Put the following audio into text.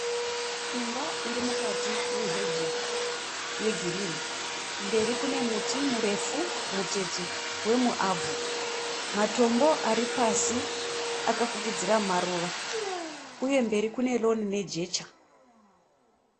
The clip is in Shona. Imba irimukati meheji yeriginhi. Mberi kune muti mirefu mutete wemuavho. Matombo aripasi akafukidzira maruva, uye mberi kuneroni nejecha.